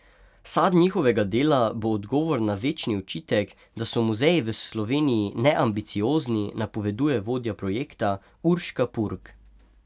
Sad njihovega dela bo odgovor na večni očitek, da so muzeji v Sloveniji neambiciozni, napoveduje vodja projekta Urška Purg.